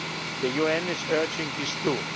The UN is urging this too.